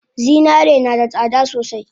Zinare nada tsada sosai